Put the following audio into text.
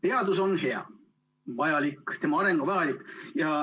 Teadus on hea ja vajalik, tema areng on vajalik.